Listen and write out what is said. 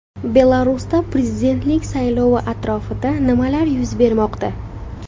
Belarusda prezidentlik saylovi atrofida nimalar yuz bermoqda?.